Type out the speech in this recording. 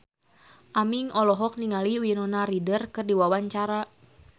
Aming olohok ningali Winona Ryder keur diwawancara